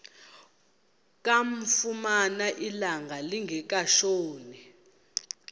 kamfumana ilanga lingekatshoni